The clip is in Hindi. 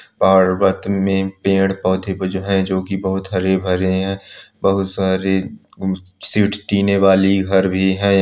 पर्वत में पेड़ पौधे है जो की हरे भरे है बहुत सारे सीट टिने वाली घर भी है यहां --